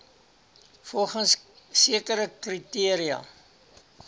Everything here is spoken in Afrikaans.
volgens sekere kriteria